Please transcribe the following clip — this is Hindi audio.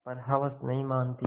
पर हवस नहीं मानती